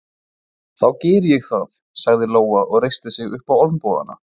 Þá geri ég það, sagði Lóa og reisti sig upp á olnbogana.